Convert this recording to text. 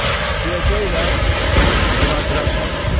deyəcəklər "Vinaqrad davay".